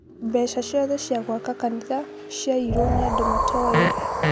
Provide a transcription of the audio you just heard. mbeca ciothe cia gwaka kanitha ciaĩyĩrwo nĩ andũ matooĩ